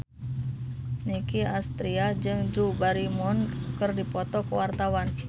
Nicky Astria jeung Drew Barrymore keur dipoto ku wartawan